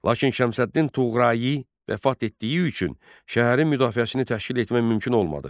Lakin Şəmsəddin Tuğrayi vəfat etdiyi üçün şəhərin müdafiəsini təşkil etmək mümkün olmadı.